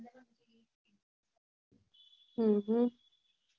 હમ